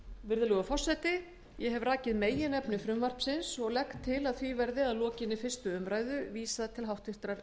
virðulegur forseti ég hef hér rakið meginefni frumvarpsins ég legg til að frumvarpinu verði að lokinni fyrstu umræðu vísað til háttvirtrar